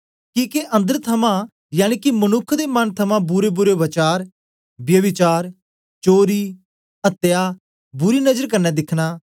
किके अन्दर थमां यनिके मनुक्ख दे मन थमां बुरेबुरे वचार ब्यभिचार चोरी अत्या बुरी नजर कन्ने दिखना